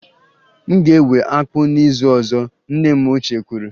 M ga-ewe akpu n'izu ọzọ, nne m ochie kwuru.